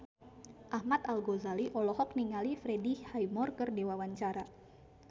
Ahmad Al-Ghazali olohok ningali Freddie Highmore keur diwawancara